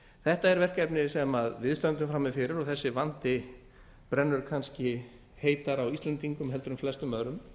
þetta er verkefnið sem við stöndum frammi fyrir og þessi vandi brennur kannski heitast á íslendingum heldur en flestum öðrum